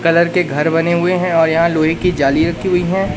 Colour के घर बने हुए हैं और यहां लोहे की जाली रखी हुई है।